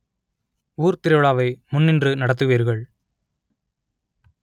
ஊர் திருவிழாவை முன்னின்று நடத்துவீர்கள்